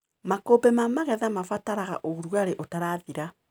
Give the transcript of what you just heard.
Makũmbĩ ma magetha mabataraga ũrugarĩ ũtarathira.